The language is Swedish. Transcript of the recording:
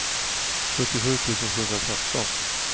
sjuttiosju tusen sjuhundratretton